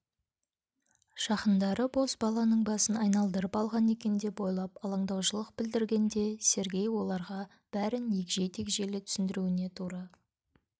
жақындары бозбаланың басын айналдырып алған екен деп ойлап алаңдаушылық білдіргенде сергей оларға бәрін егжей-тегжейлі түсіндіруіне тура